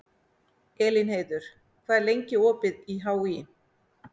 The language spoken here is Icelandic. Elínheiður, hvað er lengi opið í HÍ?